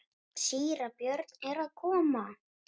Síra Björn er að koma!